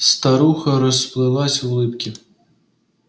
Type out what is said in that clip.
старуха расплылась в улыбке